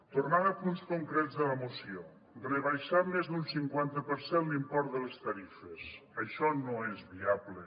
tornant a punts concrets de la moció rebaixar més d’un cinquanta per cent l’import de les tarifes això no és viable